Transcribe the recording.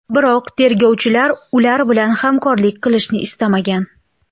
Biroq tergovchilar ular bilan hamkorlik qilishni istamagan.